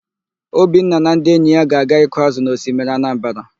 Obinna na ndị enyi ya ga-aga ịkụ ázụ̀ na osimiri Anambara.